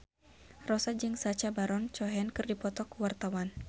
Rossa jeung Sacha Baron Cohen keur dipoto ku wartawan